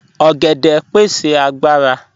Ọ̀gẹ̀dẹ pẹ̀sẹ̀ agbàrà.